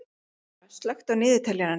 Arnóra, slökktu á niðurteljaranum.